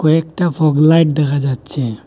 কয়েকটা fog light দেখা যাচ্ছে।